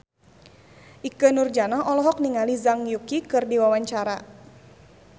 Ikke Nurjanah olohok ningali Zhang Yuqi keur diwawancara